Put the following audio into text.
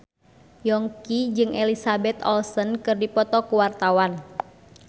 Yongki jeung Elizabeth Olsen keur dipoto ku wartawan